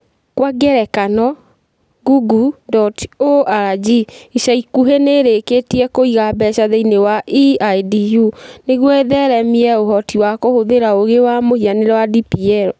Kwa ngerekano, Google.org ica ikuhĩ nĩ ĩrĩkĩtie kũiga mbeca thĩinĩ wa EIDU nĩguo ĩtheremie ũhoti wa kũhũthĩra ũũgĩ wa mũhianĩre wa DPL.